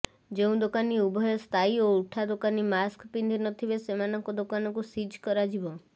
ଯେଉଁ ଦୋକାନୀ ଉଭୟ ସ୍ଥାୟୀ ଓ ଉଠା ଦୋକାନୀ ମାସ୍କ ପିନ୍ଧି ନ ଥିବେ ସେମାନଙ୍କ ଦୋକାନକୁ ସିଜ କରାଯିବ